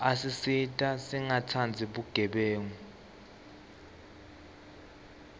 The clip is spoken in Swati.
asisita singatsandzi bugebengu